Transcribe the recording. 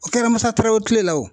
O kɛra Musa Tarawele tile la o.